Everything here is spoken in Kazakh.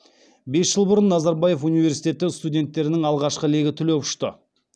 бес жыл бұрын назарбаев университеті студенттерінің алғашқы легі түлеп ұшты